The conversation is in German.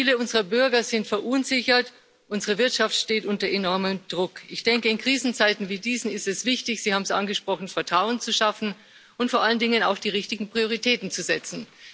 Viele unserer Bürger sind verunsichert, unsere Wirtschaft steht unter enormem Druck. Ich denke, in Krisenzeiten wie diesen ist es wichtig Sie haben es angesprochen Vertrauen zu schaffen und vor allen Dingen auf die richtigen Prioritäten zu setzen.